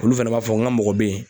Olu fana b'a fɔ n ka mɔgɔ bɛ ye